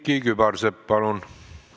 Külliki Kübarsepp, palun!